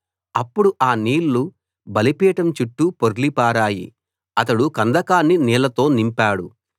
అప్పుడు ఆ నీళ్లు బలిపీఠం చుట్టూ పొర్లి పారాయి అతడు కందకాన్ని నీళ్లతో నింపాడు